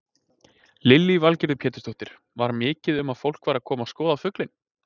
Lillý Valgerður Pétursdóttir: Var mikið um að fólk væri að koma að skoða fuglinn?